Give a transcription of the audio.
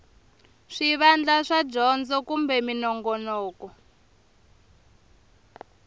swivandla swa dyondzo kumbe minongonoko